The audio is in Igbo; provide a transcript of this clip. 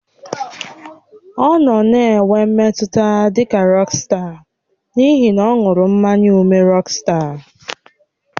Ọ nọ na-enwe mmetụta dị ka rọksta n'ihi na ọ ṅụrụ mmanya ụme rọksta.